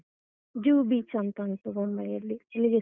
ಝ beach ಅಂತ ಉಂಟು ಬೊಂಬೈ ಯಲ್ಲಿ, ಅಲ್ಲಿಗೆ.